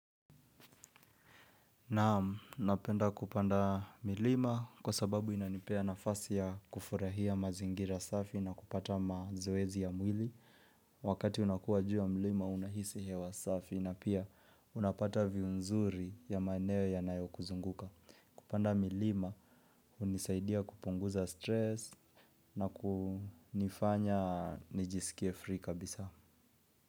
Naam napenda kupanda milima kwa sababu inanipea nafasi ya kufurahia mazingira safi na kupata mazoezi ya mwili. Wakati unakuwa juu ya milima unahisi hewa safi na pia unapata viu nzuri ya maeneo yanayo kuzunguka. Kupanda milima hunisaidia kupunguza stress na kunifanya nijisikie free kabisa.